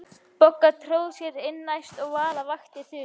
Bogga tróð sér inn næst og Vala vakti Þuru.